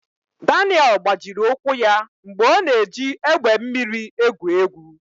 Daniel gbajiri ụkwụ ya mgbe ọ na-eji egbe mmiri egwu egwu.